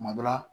Kuma dɔ la